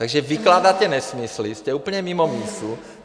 Takže vykládáte nesmysly, jste úplně mimo mísu.